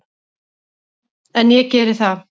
En ég geri það.